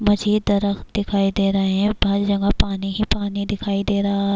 مجھے یہ درخت دکھائی دے رہے ہیں- ہر جگہ پانی ہی پانی دکھائی دے رہا--